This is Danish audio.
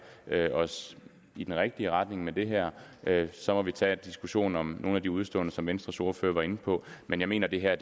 os i den rigtige retning med det her så må vi tage diskussionen om nogle af de udeståender som venstres ordfører var inde på men jeg mener det her